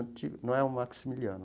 Não é o Maximiliano.